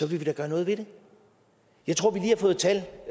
vil vi da gøre noget ved det jeg tror